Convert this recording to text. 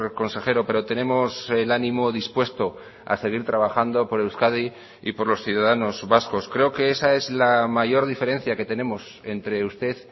consejero pero tenemos el ánimo dispuesto a seguir trabajando por euskadi y por los ciudadanos vascos creo que esa es la mayor diferencia que tenemos entre usted